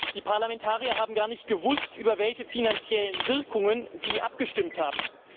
Die Parlamentarier haben gar nicht gewusst, über welche finanziellen Wirkungen sie abgestimmt haben.